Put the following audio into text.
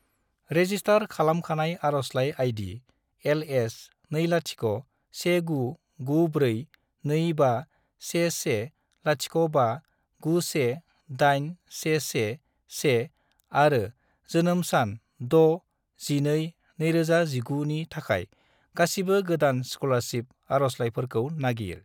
Register खालामखानाय आरजलाइ ID. LS201994251105918111 आरो जोनोम सान 6-12-2019 नि थाखाय गासिबो गोदान स्कलारसिप आरजलाइफोरखौ नागिर।